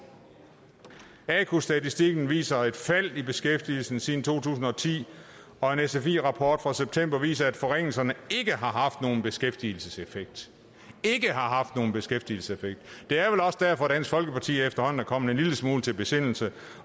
aku statistikken viser et fald i beskæftigelsen siden to tusind og ti og en sfi rapport fra september viser at forringelserne ikke har haft nogen beskæftigelseseffekt beskæftigelseseffekt det er vel også derfor at dansk folkeparti efterhånden er kommet en lille smule til besindelse